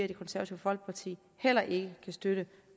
det konservative folkeparti heller ikke kan støtte